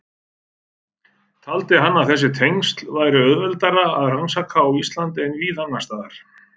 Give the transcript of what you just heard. Taldi hann að þessi tengsl væri auðveldara að rannsaka á Íslandi en víða annars staðar.